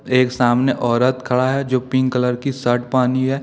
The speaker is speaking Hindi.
एक सामने औरत खड़ा है जो पिंक कलर की शर्ट पहनी है।